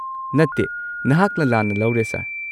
ꯅꯠꯇꯦ, ꯅꯍꯥꯛꯅ ꯂꯥꯟꯅ ꯂꯧꯔꯦ ꯁꯔ꯫